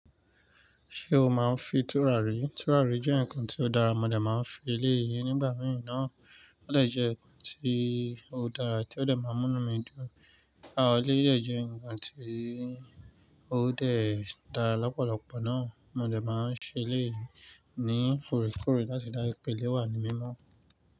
Ṣé o máa ń fi tùràrí? Tùràrí jẹ́ nǹkan ti ó dára, mo dé máa ń fi eléyii nígbà mìí naa. Ó dè jẹ́ ǹkan ti o dára tí ó dè má múnú mi dun. A ò le yẹ jẹ́ ǹkan tí ó dè dá lọ́pọ̀lọpọ̀ náà, mọ dé máa ń ṣe eléyi ní oorekoore láti dá ìpèlé wà ní mímọ́.